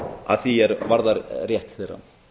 að því er varðar rétt þeirra